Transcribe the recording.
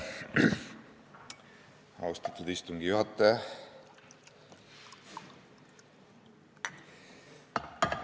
Austatud istungi juhataja!